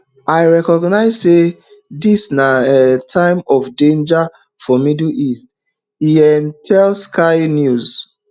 i recognise say dis na um time of danger for middle east e um tell sky news